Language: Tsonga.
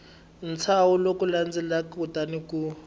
ntshaho lowu landzelaka kutani u